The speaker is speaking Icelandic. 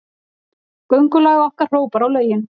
Göngulag okkar hrópar á lögin.